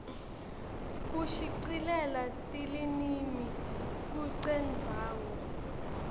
kushicilela tilinimi kucendzawo